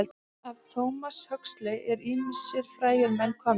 Af Thomas Huxley eru ýmsir frægir menn komnir.